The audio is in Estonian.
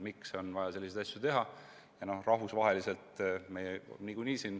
Miks on vaja selliseid asju teha?